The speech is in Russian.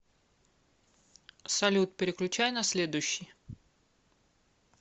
салют переключай на следующий